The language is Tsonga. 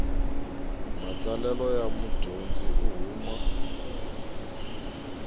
matsalelo ya mudyondzi u huma